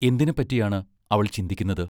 എന്തിനെപ്പറ്റിയാണ് അവൾ ചിന്തിക്കുന്നത്?